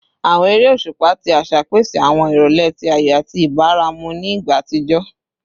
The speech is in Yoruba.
Awọn ere oṣupa ti aṣa pese awọn irọlẹ ti ayọ ati ibaramu ni igba atijọ